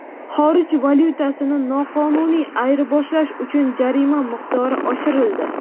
Xorij valyutasini noqonuniy ayirboshlash uchun jarima miqdori oshirildi.